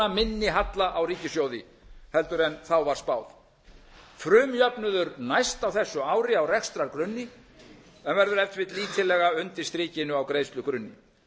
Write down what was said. minni halla á ríkissjóði heldur en þá var spáð frumjöfnuður næst á þessu ári á rekstrargrunni en verður ef til vill lítillega undir strikinu á greiðslugrunni